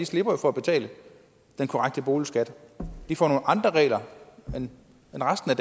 slipper for at betale den korrekte boligskat de får nogle andre regler end resten af